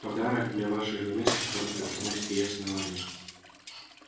подарок для вашей жены с которым преподносит ей основание